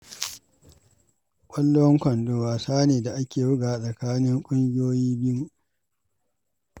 Ƙwallon kwando wasa ne da ake bugawa a tsakanin ƙungiyoyi biyu.